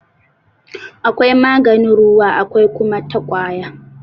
Akwai maganin ruwa akwai kuma ta ƙwaya..